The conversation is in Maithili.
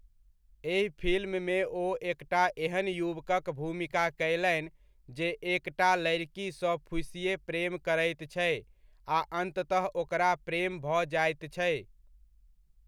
एहि फिल्ममे ओ एकटा एहन युवकक भूमिका कयलनि जे एकटा लड़िकीसँ फूसिए प्रेम करैत छै आ अन्ततः ओकरा प्रेम भऽ जाइत छै।